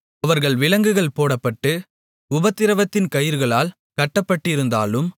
அவர்கள் விலங்குகள் போடப்பட்டு உபத்திரவத்தின் கயிறுகளால் கட்டப்பட்டிருந்தாலும்